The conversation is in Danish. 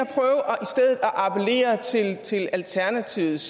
appellere til til alternativets